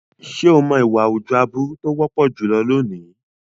Ṣé o mọ̀ ìwà àwùjọ aburú tó wọ́pọ̀ jùlọ lónìí?